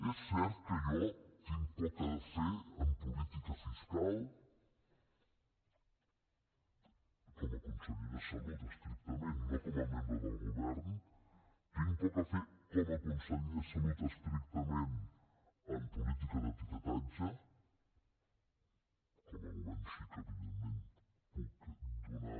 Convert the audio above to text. és cert que jo tinc poc a fer en política fiscal com a conseller de salut estrictament no com a membre del govern tinc poc a fer com a conseller de salut estrictament en política d’etiquetatge com a govern sí que evidentment puc donar